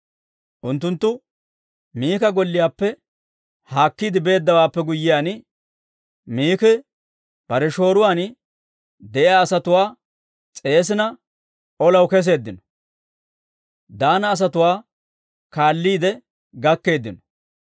Unttunttu Mika golliyaappe haakkiide beeddawaappe guyyiyaan, Miki bare shooruwaan de'iyaa asatuwaa s'eesina, olaw keseeddino; Daana asatuwaa kaalliide gakkeeddino.